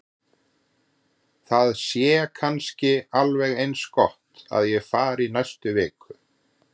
Það sé kannski alveg eins gott að ég fari í næstu viku.